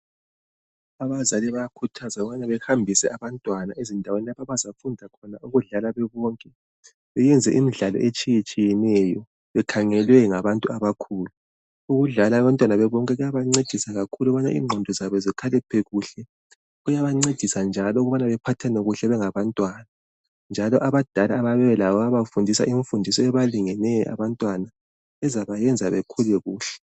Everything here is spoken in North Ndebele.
Abazali bayakhuthazwa ukubana bahambise abantwana ezindaweni lapho abazafunda ukudlala bebonke beyenza imidlalo etshiyetshiyeneyo bekhangelwe ngabantu abakhulu. Ukudlala abantwana bebonke kuyabancedisa kakhulu ukubana igqondo zabo zikhaliphe kuhle. Kuyabancedisa njalo ukubana baphathane kahle bengaba ntwana. Njalo abadala abayabe belabo bayabafundisa imfundiso ebalingeneyo abantwana ezabayenza bakhule kuhle.